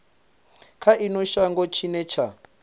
kha ino shango tshine tsha